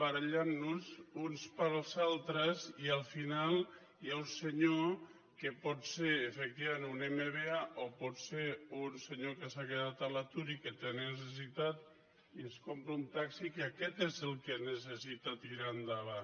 barallant nos uns pels altres i al final hi ha un senyor que pot ser efectivament un mba o pot ser un senyor que s’ha quedat a l’atur i que té necessitat i es compra un taxi que aquest és el que necessita tirar endavant